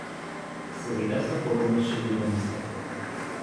Seveda so formule še vedno iste.